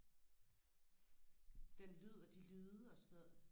den lyd og de lyde og sådan noget